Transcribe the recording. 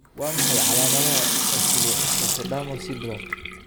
Waa maxay calaamadaha iyo calaamadaha Oculoectotodermal syndrome?